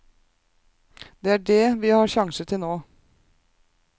Det er dét vi har sjanser til nå.